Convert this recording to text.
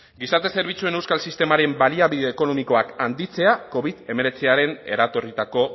gizarte zerbitzuen euskal sistemaren baliabide ekonomikoak handitzea covid hemeretziaren eratorritako